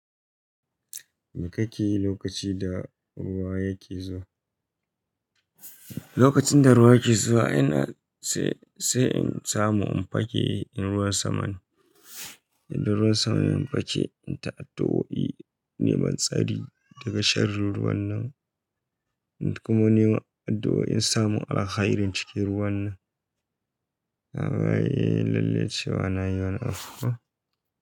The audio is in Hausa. Me kake yi lokacin da ruwa yake zuwa? Lokacin da ruwa ke zuwa, ina sai, sai in samu in fake in ruwa samane. In ruwa samane in fake, in ta addu'o'i neman tsari daga sharrun ruwan nan, kuma nema addu'o'i in samu alkhairin cikin ruwan nan. Na ba yi lalle cewa na yi wannan afuwa.